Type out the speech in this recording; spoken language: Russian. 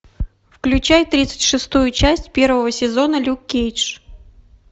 включай тридцать шестую часть первого сезона люк кейдж